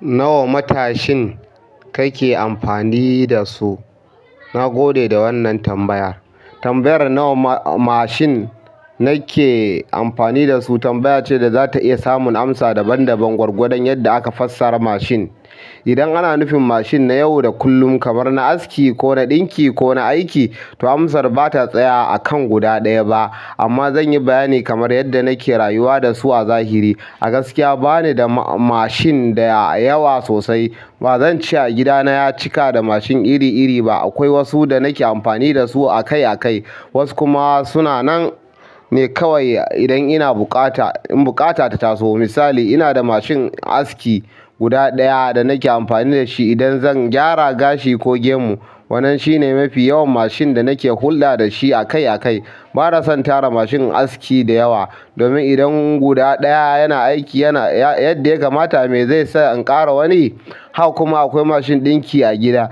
Nawa matashin kake amfani da su? Na gode da wannan tambaya. Tambayar nawa mashin nake amfani da su tambaya ce da za ta iya samun amsa daban-daban gwargwadon yadda aka fassara mashin. Idan ana nufin mashin na yau da kullum kamar na aski ko na ɗinki ko na aiki, to amsar ba ta tsaya akan guda ɗaya ba. Amma zan yi bayani kamar yadda nake rayuwa da su a zahiri. A gaskiya bani da mashin da yawa sosai. Ba zan ce gida na ya cika da mashin iri-iri ba. Akwai wasu da nake amfani da su akai-akai, wasu kuma suna nan ne kawai idan ina buƙata, in buƙata ta taso. Misali, ina da mashin aski guda ɗaya da nake amfani da shi idan zan gyara gashi ko gemu. Wannan shine mafi yawan mashin da nake hulɗa da shi akai-akai. Ba na son tara mashin aski da yawa domin idan guda ɗaya yana aiki yana, yadda ya kamata, me zai sa in ƙara wani? Haka kuma akwai mashin ɗinki a gida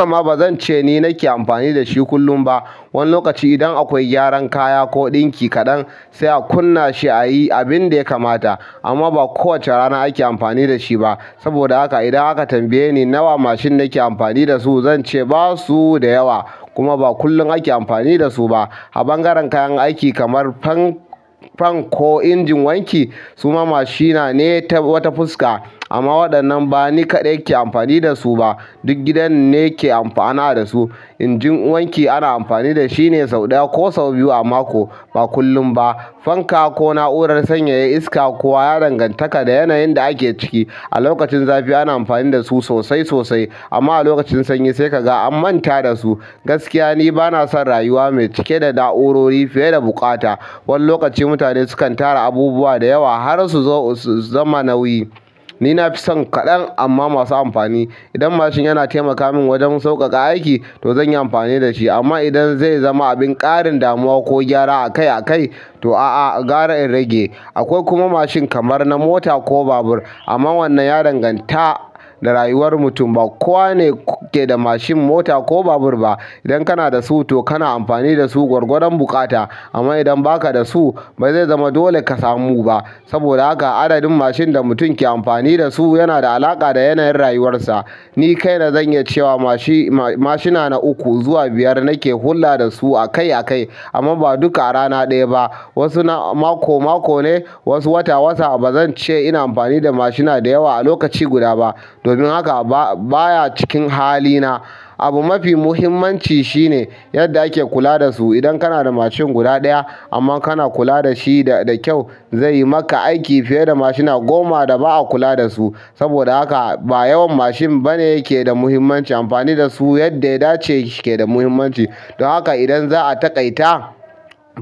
amma ba zan ce ni nake amfani da shi kullum ba. Wani lokaci idan akwai gyaran kaya ko ɗinki kaɗan, sai a kunna shi a yi abin da ya kamata. Amma ba kowace rana ake amfani da shi ba. Saboda haka idan aka tambaye ni nawa mashin nike amfani da su? Zan ce basu da yawa kuma ba kullum ake amfani da su ba a ɓangaren kayan aiki kamar fan, fan ko injin wanki suma mashina ne ta wata fuska amma waɗannan ba ni kaɗai ke amfani da su ba, duk gidan ne ke amfana da su. Injin wanki ana amfani da shi ne sau ɗaya ko sau biyu a mako, ba kullum ba. Fanka ko na'urar sanyaya iska kuwa ya danganta da yanayin da ake ciki. A lokacin zafi ana amfani da su sosai sosai amma a lokacin sanyi sai ka ga an manta da su. Gaskiya ni ba na son rayuwa mai cike da na'urori fiye da buƙata. Wani lokaci mutane sukan tara abubuwa da yawa har su zo, su zama nauyi. Ni nafi son ƙadan amma masu amfani. Idan mashin yana taimaka min wajen sauƙaƙa aiki, to zan yi amfani da shi. Amma idan zai zama abin ƙarin damuwa ko gyara akai-akai, to a'a, gara in rage. Akwai kuma mashin kamar na mota ko babur. Amma wannan ya danganta da rayuwar mutum. Ba kowa ne ke da mashin, mota ko babur ba. Idan kana da su, to kana amfani da su gwargwadon buƙata. Amma idan ba ka da su, ba zai zama dole ka samu ba. Saboda haka adadin mashin da mutum ke amfani da su yana da alaƙa da yanayin rayuwarsa. Ni kaina zan yi cewa mashi, mashina na uku zuwa biyar nake hulɗa da su akai-akai amma ba duka a rana ɗaya ba. Wasu na mako-mako ne, wasu wata-wata. Ba zan ce ina amfani da mashina da yawa a lokaci guda ba. Domin haka ba, baya cikin hali na. Abu ma fi muhimmanci shine yadda ake kula da su. Idan kana da mashin guda ɗaya amma kana kula da shi da, da kyau, zai yi maka aiki fiye da mashina goma da ba a kula da su. Saboda haka ba yawan mashin bane yake da muhimmanci, amfani da su yadda ya dace shike da muhimmanci. Don haka idan za a taƙaita,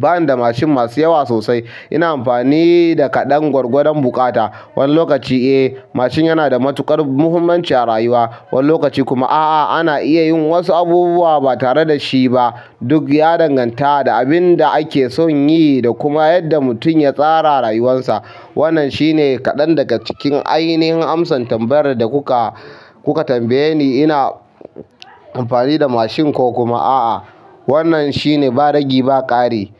bani da mashin masu yawa sosai. Ina amfani da kaɗan gwargwadon buƙata. Wani lokaci, eh, mashin yana da matuƙar muhimmanci a rayuwa. Wani lokaci kuma a'a, ana iya yin wasu abubuwa ba tare da shi ba. Duk ya danganta da abin da ake son yi da kuma yadda mutum ya tsara rayuwarsa. Wannan shine kaɗan daga cikin ainihin amsan tambayar da kuka, kuka tambaye ni. Ina amfani da mashin ko kuma a'a. Wannan shine ba rage ba ƙari.